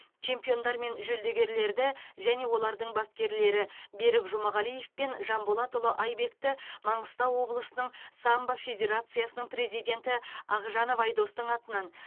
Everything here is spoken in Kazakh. чемпиондар мен жүлдегерлерді және олардың бапкерлері берік жұмағалиев пен жанболатұлы айбекті маңғыстау облысының самбо федерациясының президенті ақжанов айдостың атынан